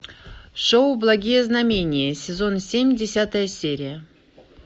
шоу благие знамения сезон семь десятая серия